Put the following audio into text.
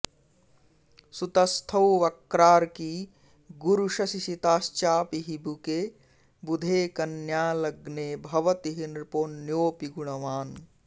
सुतस्थौ वक्रार्की गुरु शशि सिताश्चापि हिबुके बुधे कन्या लग्ने भवति हि नृपोऽन्योऽपि गुणवान्